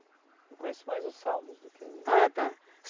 Eu conheço mais o Salmos do que o... Ah tá!